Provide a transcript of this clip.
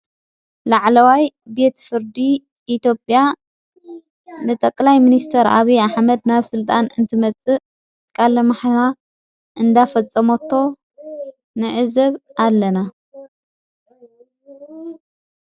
ላዕለዋይ ቤት ፍርዲ ኢትዮጵያ ንጠቕላይ ምንስተር ዓብ ኣኅመድ ናብ ሥልጣን እንትመጽእ ቃለ መሕላ እንዳፈጸሞቶ ንዕዘብ ኣለና።